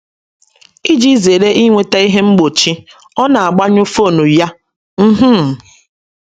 Iji zere inweta ihe mgbochi, ọ na - agbanyụ fon ya. um